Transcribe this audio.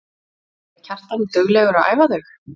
Er Kjartan duglegur að æfa þau?